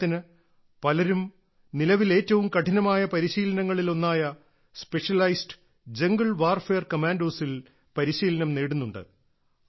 ഉദാഹരണത്തിന് പലരും നിലവിൽ ഏറ്റവും കഠിനമായ പരിശീലനങ്ങളിൽ ഒന്നായ സ്പെഷ്യലൈസ്ഡ് ജംഗിൾ വാർഫെയർ കമാൻഡോസ് ൽ പരിശീലനം നേടുന്നുണ്ട്